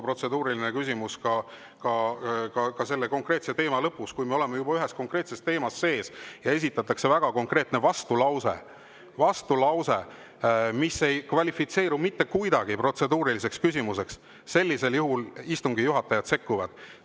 Protseduuriline küsimus võib tulla ka mingi teema lõpus, aga kui me oleme juba konkreetses teemas sees ja esitatakse väga konkreetne vastulause, mis ei kvalifitseeru mitte kuidagi protseduuriliseks küsimuseks, siis sellisel juhul istungi juhatajad sekkuvad.